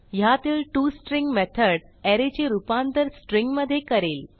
ह्यातील to string method array चे रूपांतर स्ट्रिंग मधे करेल